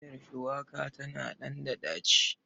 Miiyar shuwaka tana ɗan ɗaci.